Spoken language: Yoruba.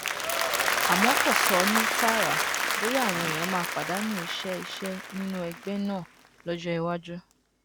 àmọ kò sọ ní tààràtà bóyá àwọn èèyàn máa pàdánù iṣẹ iṣẹ nínú ẹgbẹ náà lọjọ iwájú